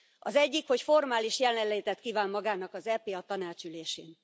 Az egyik, hogy formális jelenlétet kíván magának az EP a Tanács ülésén.